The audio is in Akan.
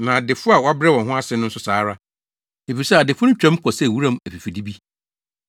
na adefo a wabrɛ wɔn ase no nso saa ara. Efisɛ, adefo no twam kɔ sɛ wuram afifide bi.